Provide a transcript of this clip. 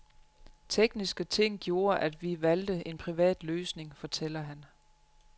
Tekniske ting gjorde, at vi valgte en privat løsning, fortæller han.